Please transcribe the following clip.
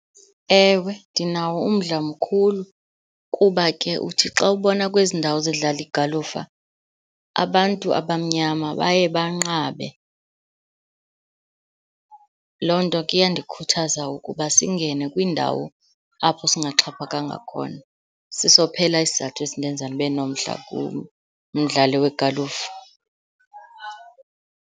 Ewe, ndinawo umdla mkhulu, kuba ke uthi xa ubona kwezi ndawo zidlala igalufa, abantu abamnyama baye banqabe. Loo nto ke iyandikhuthaza ukuba singene kwiindawo apho singaxhaphakanga khona, siso phela isizathu esindenza ndibe nomdla kumdlalo wegalufa.